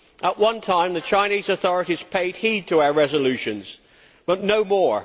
At one time, the Chinese authorities paid heed to our resolutions, but no more.